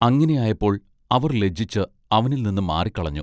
അങ്ങിനെ ആയപ്പോൾ അവർ ലജ്ജിച്ച് അവനിൽനിന്ന് മാറിക്കളഞ്ഞു.